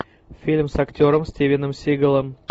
фильм с актером стивеном сигалом